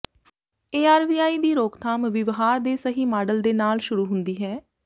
ARVI ਦੀ ਰੋਕਥਾਮ ਵਿਵਹਾਰ ਦੇ ਸਹੀ ਮਾਡਲ ਦੇ ਨਾਲ ਸ਼ੁਰੂ ਹੁੰਦੀ ਹੈ